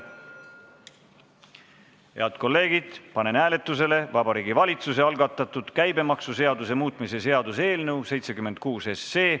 Head kolleegid, panen hääletusele Vabariigi Valitsuse algatatud käibemaksuseaduse muutmise seaduse eelnõu 76.